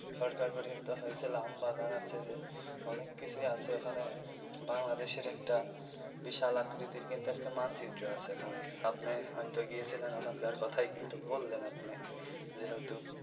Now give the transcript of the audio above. সরকার গঠিত হয়েছিল আমবাগান আছে যে অনেক কিছুই আসে ওখানে বাংলাদেশের একটা বিশাল আকৃতির কিন্তু মানচিত্র আছে ওখানে আপনি হয় তো গিয়েছিলেন ওখানকার কথাই কিন্তু বললেন আপনি যেহেতু.